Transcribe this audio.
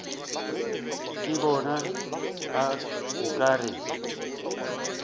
ke bona o ka re